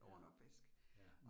Ja, ja